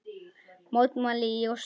Mótmæli í Osló